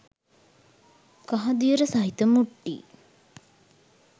කහදියර සහිත මුට්ටි